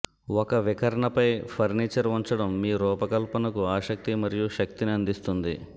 ఒక వికర్ణపై ఫర్నిచర్ ఉంచడం మీ రూపకల్పనకు ఆసక్తి మరియు శక్తిని అందిస్తుంది